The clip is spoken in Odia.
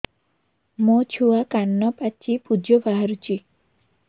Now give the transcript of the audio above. ମୋ ଛୁଆ କାନ ପାଚି ପୂଜ ବାହାରୁଚି